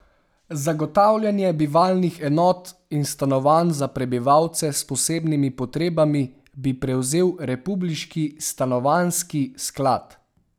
Zagotavljanje bivalnih enot in stanovanj za prebivalce s posebnimi potrebami bi prevzel republiški stanovanjski sklad.